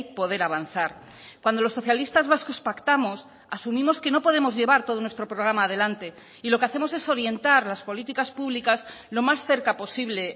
poder avanzar cuando los socialistas vascos pactamos asumimos que no podemos llevar todo nuestro programa adelante y lo que hacemos es orientar las políticas públicas lo más cerca posible